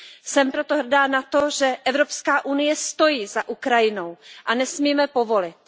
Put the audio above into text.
Jsem proto hrdá na to, že Evropská unie stojí za Ukrajinou, a nesmíme povolit.